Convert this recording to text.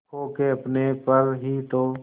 खो के अपने पर ही तो